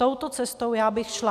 Touto cestou já bych šla.